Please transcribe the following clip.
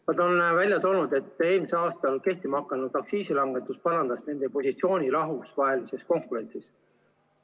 Nad on välja toonud, et eelmisel aastal kehtima hakanud aktsiisilangetus parandas nende positsiooni rahvusvahelises konkurentsis.